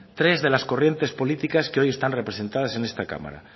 tres de las corrientes políticas que hoy están representadas en esta cámara